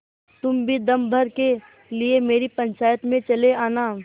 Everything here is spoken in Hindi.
तुम भी दम भर के लिए मेरी पंचायत में चले आना